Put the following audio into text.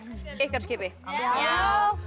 skipi já